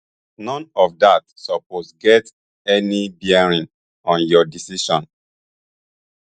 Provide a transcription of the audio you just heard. none of dat suppose get any bearing on your decision